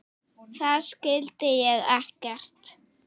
Þar skildi ég ekkert.